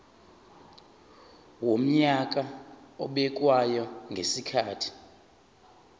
wonyaka obekwayo ngezikhathi